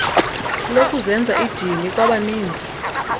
lokuzenza idini kwabaninzi